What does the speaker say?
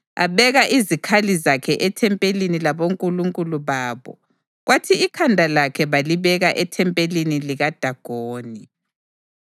Abeka izikhali zakhe ethempelini labonkulunkulu babo kwathi ikhanda lakhe balibeka ethempelini likaDagoni.